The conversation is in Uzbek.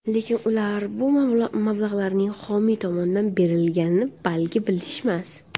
Lekin ular bu mablag‘larning, xomiy tomonidan berilganini balki bilishmas?